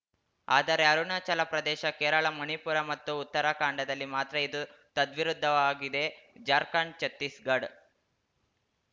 ಆದರೆ ಅರುಣಾಚಲ ಪ್ರದೇಶ ಕೇರಳ ಮಣಿಪುರ ಮತ್ತು ಉತ್ತರಾಖಂಡದಲ್ಲಿ ಮಾತ್ರ ಇದು ತದ್ವಿರುದ್ಧವಾಗಿದೆ ಜಾರ್ಖಂಡ್‌ ಛತ್ತೀಸ್‌ಗಡ್